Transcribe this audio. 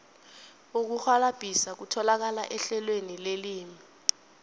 ukurhwalabhisa kutholakala ehlelweni lelimi